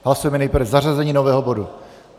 Hlasujeme nejprve zařazení nového bodu.